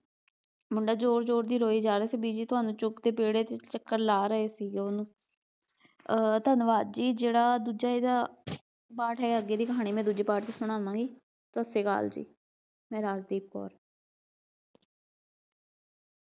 ਮੁੰਡਾ ਜ਼ੋਰ ਜ਼ੋਰ ਦੀ ਰੋਈ ਜਾ ਰਿਹਾ ਸੀ, ਬੀਜੀ ਤੁਹਾਨੂੰ ਚੁੱਕ ਕੇ ਵਿਹੜੇ ਚ ਚੱਕਰ ਲਾ ਰਹੇ ਸੀਗੇ ਉਹਨੂੰ ਅਹ ਧੰਨਵਾਦ ਜੀ ਜਿਹੜਾ ਦੂਜਾ ਇਹਦਾ ਪਾਠ ਹੈ ਅੱਗੇ ਦੀ ਕਹਾਣੀ ਮੈਂ ਦੂਜੇ part ਚ ਸਣਾਵਾਂਗੀ, ਸਤਿ ਸ੍ਰੀ ਅਕਾਲ ਜੀ, ਮੈਂ ਰਾਜਦੀਪ ਕੌਰ।